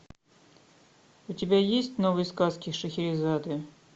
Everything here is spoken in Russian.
у тебя есть новые сказки шахерезады